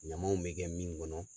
Ɲamaw bɛ kɛ min kɔnɔ